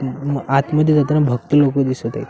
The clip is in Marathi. इथून आतमध्ये येताना भक्त लोकं दिसत आहेत.